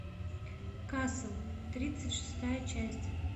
касл тридцать шестая часть